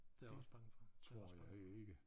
Det jeg også bange for også bange for